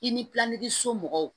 I ni somɔgɔw